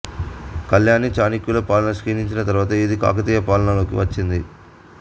కళ్యాణీ చాళుక్యుల పాలన క్షీణించిన తరువాత ఇది కాకతీయుల పాలన లోకి వచ్చింది